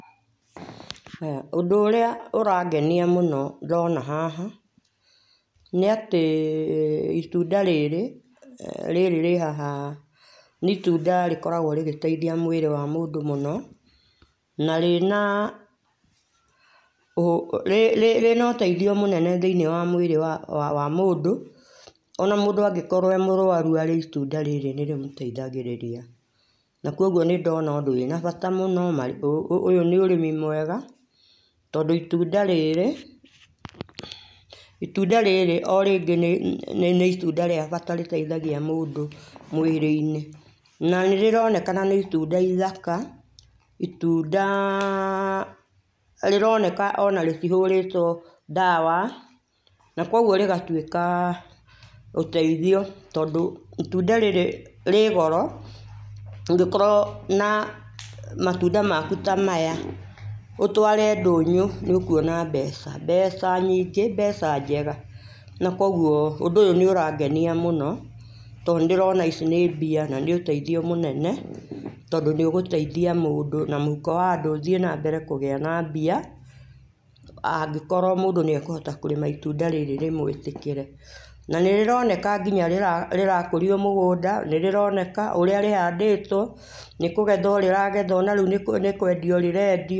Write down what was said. Ũndũ ũrĩa ũrangenia mũno ndĩrona hana nĩ atĩ itũnda rĩrĩ rĩrĩrĩhaha nĩ itũnda rĩkoragwo rĩgĩteĩthia mwĩrĩ wa mũndũ mũno na rĩna ũ rĩna ũteĩthio mũnene thĩinĩ wa mwĩrĩ wa mũndũ ona mũndũ angĩkorwo e mũrwarũ arĩe itũnda rĩrĩ nĩ rĩ mũteithagĩrĩria na kũogũo nĩ ndona ũndũ wĩna bata mũno ũyũ nĩ ũrĩmi mwega tondũ itũnda rĩrĩ itũnda rĩrĩ o rĩngĩ nĩ itũnda rĩa bata rĩteithagia mũndũ mwĩrĩ inĩ na nĩrĩronekana nĩ itũnda ithaka itũnda rĩroneka ona rĩtĩhũrĩtwo ndawa nakũogũo rĩgatwĩka ũteĩthio tondũ itũnda rĩrĩ rĩ goro ũngĩkorwo na matũnda makũ ta maya ũtware ndũnyũ nĩũkũona mbeca mbeca nyingĩ mbeca njega namkũogũo ũndũ ũyũ nĩ ũrangenia mũno to nĩ nndĩrona icĩ nĩ mbia na nĩũteithio mũnene tondũ nĩ ũgũteithia mũndũ na mũhũko wa andũ ũthiĩ nambere na kũgia mbia angĩkorwo mũndũ nĩ ekũhota kũrĩma itũnda rĩrĩ rĩmwĩtĩkĩre na nĩrĩroneka nginya rĩrakũrio mũgũnda nĩrĩroneka ũrĩa rĩhandĩtwo nĩkũgethwo rĩragethwo na rĩũ nĩkwendio rĩrendio.